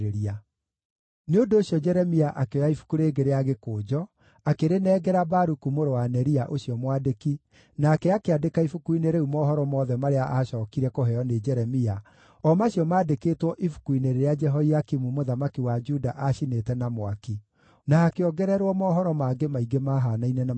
Nĩ ũndũ ũcio Jeremia akĩoya ibuku rĩngĩ rĩa gĩkũnjo, akĩrĩnengera Baruku mũrũ wa Neria ũcio mwandĩki, nake akĩandĩka ibuku-inĩ rĩu mohoro mothe marĩa aacookire kũheo nĩ Jeremia, o macio maandĩkĩtwo ibuku-inĩ rĩrĩa Jehoiakimu mũthamaki wa Juda aacinĩte na mwaki; na hakĩongererwo mohoro mangĩ maingĩ maahaanaine na macio ma mbere.